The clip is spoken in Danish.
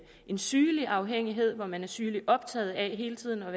en sygelig afhængighed hvor man er sygeligt optaget af hele tiden